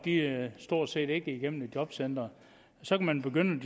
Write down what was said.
ikke stort set igennem et jobcenter så kan man begynde